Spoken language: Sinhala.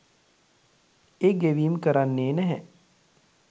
ඒ ගෙවීම් කරන්නෙ නැහැ.